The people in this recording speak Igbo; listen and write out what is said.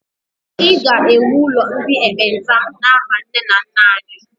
I ga-ewu ụlọ ndị ekpenta n'aha nne na nna anyị!